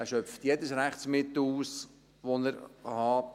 Er schöpft jedes Rechtsmittel aus, das er hat.